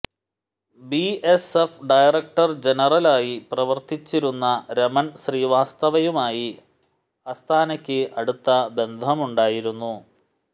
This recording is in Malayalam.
ബിഎസ്എഫ് ഡയറക്ടർ ജനറലായി പ്രവർത്തിച്ചിരുന്ന രമൺ ശ്രീവാസ്തവയുമായി അസ്താനയ്ക്ക് അടുത്ത ബന്ധമുണ്ടായിരുന്നു